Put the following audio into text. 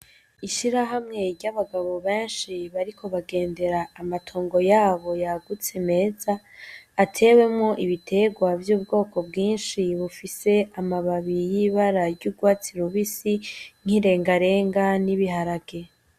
Ishirahamwe ry'abagabo benshi bariko bagendera amatongo yabo yagutse meza atewemwo ibiterwa vy'ubwoko bwinshi bufise amababi y'ibara ry'urwatsi rubisi nk'irengarenga n'ibiharage.